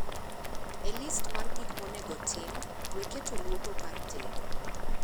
E list mar gik monego otim, we keto luoko kar tedo